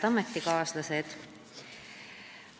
Head ametikaaslased!